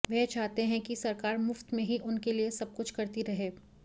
वे चाहते हैं कि सरकार मुफ्त में ही उनके लिए सब कुछ करती रहे